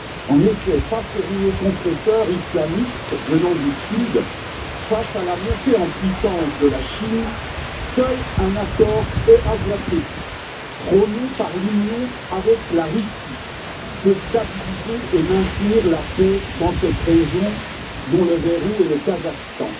En effet, face au rouleau compresseur islamiste venant du sud, face à la montée en puissance de la Chine, seul un accord eurasiatique prôné par l'Union avec la Russie peut stabiliser et maintenir la paix dans cette région, dont le verrou est le Kazakhstan.